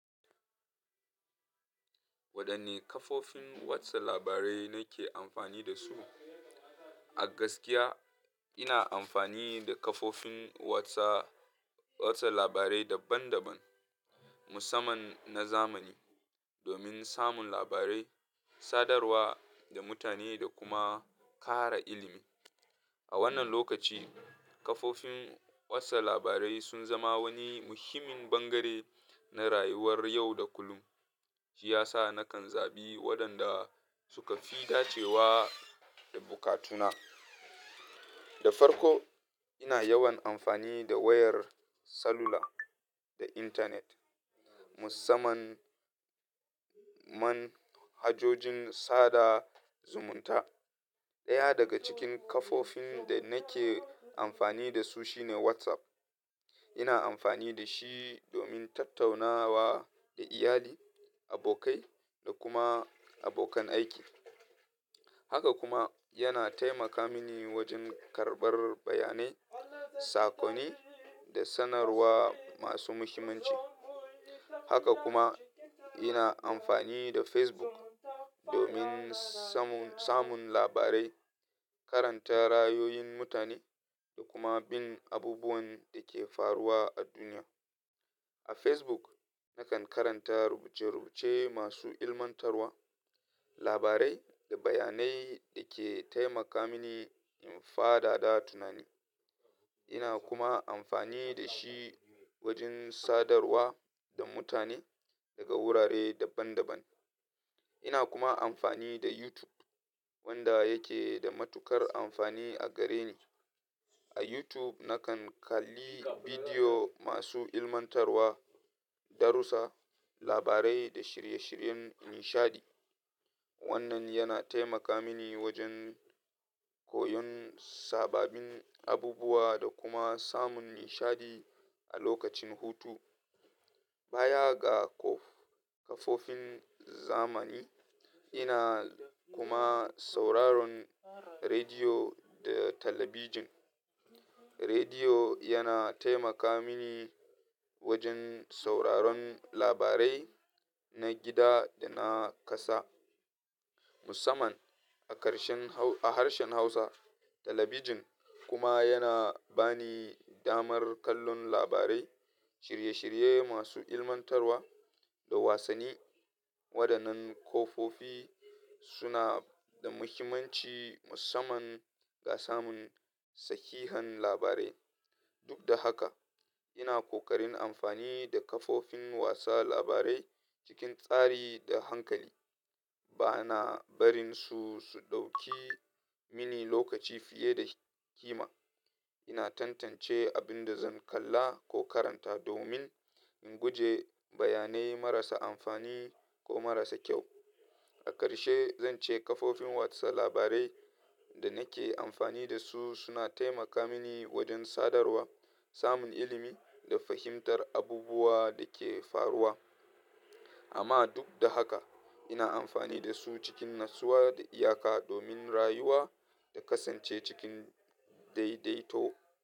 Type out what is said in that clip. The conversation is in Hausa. Wadanne kafofin watsa labarai nake amfani da su? A gaskiya, ina amfani da kafofin watsa, watsa labarai daban-daban musamman na zamani domin samun labarai, sadarwa da mutane da kuma ƙara ilimi. A wannan lokaci, kafofin watsa labarai sun zama wani muhimmin bangare na rayuwar yau da kullum. Shi ya sa nakan zaɓi waɗanda suka fi dacewa da bukatuna. Da farko, ina yawan amfani da wayar salula da intanet musamman man hajojin sada zumunta. Ɗaya daga cikin kafofin da nake amfani da su shine WhatsApp. Ina amfani da shi domin tattaunawa da iyali, abokai da kuma abokan aiki. Haka kuma yana taimaka mini wajen karɓar bayanai, saƙonni da sanarwa masu muhimmanci. Haka kuma, ina amfani da Facebook domin samun, samun labarai, karanta ra'ayoyin mutane da kuma bin abubuwan da ke faruwa a duniya. A Facebook nakan karanta rubuce-rubuce masu ilmantarwa, labarai da bayanai da ke taimaka mini in faɗaɗa tunani. Ina kuma amfani da shi wajen sadarwa da mutane daga wurare daban-daban. Ina kuma amfani da YouTube wanda yake da matuƙar amfani a gare ni. A YouTube nakan kalli bidiyo masu ilmantarwa, darussa, labarai da shirye-shiryen nishaɗi. Wannan yana taimaka mini wajen koyon sababbin abubuwa da kuma samun nishaɗi a lokacin hutu. Baya ga ko-kafofin zamani, ina kuma sauraron rediyo da talabijin. Rediyo yana taimaka mini wajen sauraron labarai na gida da na ƙasa musamman a karshen hauusa, a harshen Hausa. Talabijin kuma yana bani damar kallon labarai, shirye-shirye masu ilmantarwa da wasanni. Waɗannan kafofi suna da muhimmanci musamman ga samun sahihan labarai. Duk da haka, ina ƙoƙarin amfani da kafofin watsa labarai cikin tsari da hankali. Bana barin su, su ɗauki mini lokaci fiye da ƙima. Ina tantance abin da zan kalla ko karanta domin in guje bayanai marasa amfani ko marasa kyau. A ƙarshe, zan ce kafofin watsa labarai da nake amfani da su suna taimaka mini wajen sadarwa, samun ilimi da fahimtar abubuwa da ke faruwa. Amma duk da haka ina amfani da su cikin natsuwa da iyaka domin rayuwa da kasance cikin daidaito.